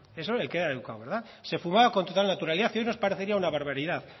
eso el que era educado verdad se fumaba con total naturalidad y hoy nos parecería una barbaridad